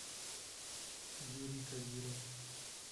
юрий кадиров